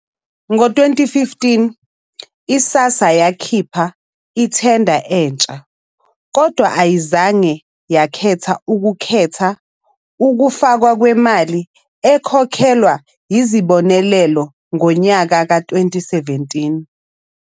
Ngo-2015, i-SASSA yakhipha ithenda entsha kodwa ayizange yakhetha ukukhetha ukufakwa kwemali ekhokhelwa izibonelelo ngonyaka ka-2017.